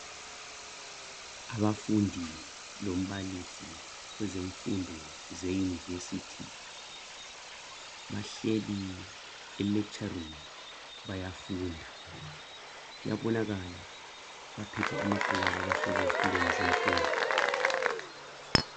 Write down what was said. Abafundi lombalisi kwezemfundo ze yunivesithi bahleli e lecture room bayafunda kuyabonaka baphethe amabhuku Abo bahlezi ezitulweni zemfundo